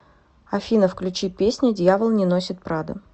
афина включи песня дьявол не носит прада